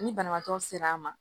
Ni banabaatɔ ser'a ma